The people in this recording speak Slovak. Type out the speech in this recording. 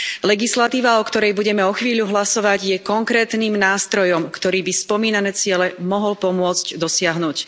Legislatíva, o ktorej budeme o chvíľu hlasovať, je konkrétnym nástrojom, ktorý by spomínané ciele mohol pomôcť dosiahnuť.